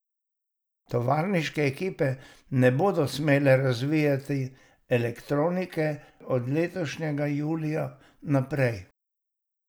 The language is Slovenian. Tovarniške ekipe ne bodo smele razvijati elektronike od letošnjega julija naprej.